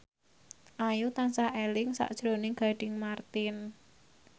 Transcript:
Ayu tansah eling sakjroning Gading Marten